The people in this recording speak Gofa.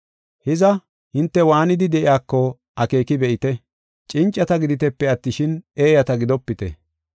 Hiza, hinte waanidi de7iyako akeeki be7ite. Cincata giditepe attishin, eeyata gidopite.